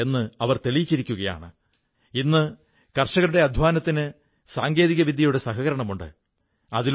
കുട്ടികൾ അവരെ സ്നേഹപൂർവ്വം കിതാബോംവാലീ ദീദി പുസ്തകക്കാരിച്ചേച്ചി എന്നു വിളിക്കുന്നു